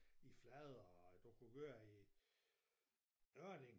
i Flader og du kunne køre i Ørding